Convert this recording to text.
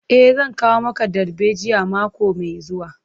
E, zan kawo maka darbejiyan mako mai zuwa.